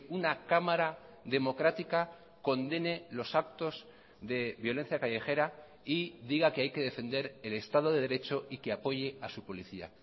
una cámara democrática condene los actos de violencia callejera y diga que hay que defender el estado de derecho y que apoye a su policía